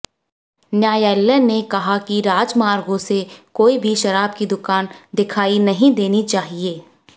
न्यायालय ने कहा कि राजमार्गों से कोई भी शराब की दुकान दिखाई नहीं देनी चाहिए